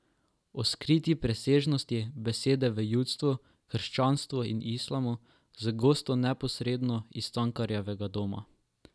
O skriti presežnosti besede v judovstvu, krščanstvu in islamu z gosti neposredno iz Cankarjevega doma.